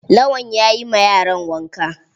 Lawan yayi ma yaran wanka.